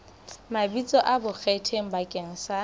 mabitso a bonkgetheng bakeng sa